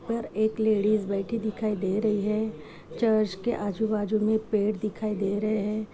पर एक लेडिस बैठी दिखाई दे रही है चर्च के आजू बाजू में पेड़ दिखाई दे रहे हैं।